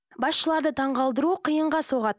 басшыларды таңғалдыру қиынға соғады